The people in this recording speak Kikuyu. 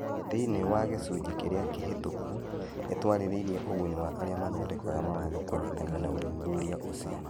Thĩinĩ wa gĩcunjĩ kĩrĩa kĩhĩtũku, nĩ twarĩrĩirie ũguni wa arĩa mathondekaga mawatho kũnyitanĩra na ũthuthuria ũcio.